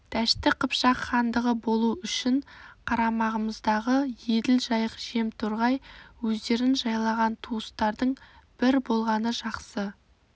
дәшті қыпшақ хандығы болу үшін қарамағымызда еділ жайық жем торғай өзендерін жайлаған туыстардың бір болғаны жақсы